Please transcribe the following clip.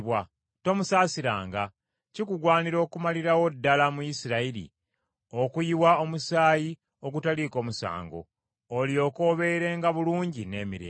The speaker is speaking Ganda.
Tomusaasiranga. Kikugwanira okumalirawo ddala mu Isirayiri okuyiwa omusaayi ogutaliiko musango, olyoke obeerenga bulungi n’emirembe.